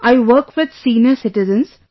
I work with senior citizens